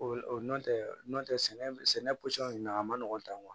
O nɔntɛ n'o tɛ sɛnɛ pɔsɔn na a ma nɔgɔn tan